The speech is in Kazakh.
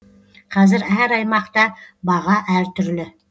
қазір әр аймақта баға әртүрлі